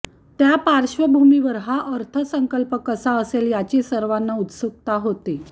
त्या पार्श्वभूमीवर हा अर्थसंकल्प कसा असेल याची सर्वाना उत्सुकता होती